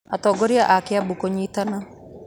Atongoria a Kĩambu kũnyitana